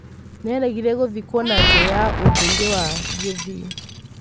Nĩaregire gũthikwo na njĩra ya ũndũire wa Gĩthii.